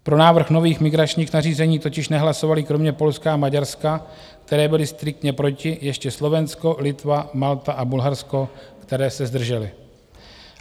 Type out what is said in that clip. Pro návrh nových migračních nařízení totiž nehlasovaly kromě Polska a Maďarska, které byly striktně proti, ještě Slovensko, Litva, Malta a Bulharsko, které se zdržely.